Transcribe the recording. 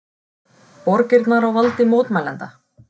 Borgirnar á valdi mótmælenda